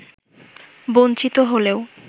বঞ্চিত হলেও